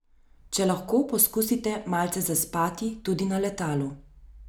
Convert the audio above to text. Če lahko, poskusite malce zaspati tudi na letalu.